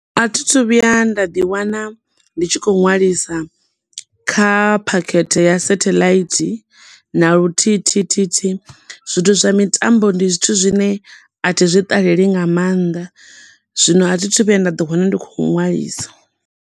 A thi thu vhuya nda ḓi wana ndi tshi kho ṅwalisa kha phakhethe ya satheḽaithi na luthihithithihi zwithu zwa mitambo ndi zwithu zwine athi zwi ṱaleli nga mannḓa zwino a thi thu vhuya nda ḓi wana ndi khou ṅwalisa.